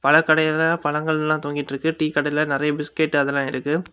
பல கடையில பழங்கள் எல்லா தொங்கி இருக்கு டீ கடையில நெறைய பிஸ்கட் அதெல்லாம் இருக்கு.